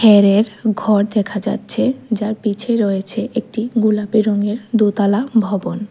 ঘর দেখা যাচ্ছে যার পিছে রয়েছে একটি গোলাপি রঙের দোতালা ভবন।